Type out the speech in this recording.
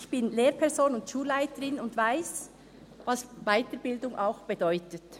Ich bin Lehrperson und Schulleiterin und weiss, was Weiterbildung auch bedeutet.